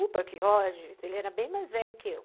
O Buck Rogers, ele era bem mais velho que eu.